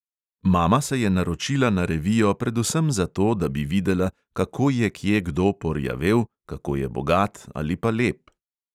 Mama se je naročila na revijo predvsem zato, da bi videla, kako je kje kdo porjavel, kako je bogat ali pa lep.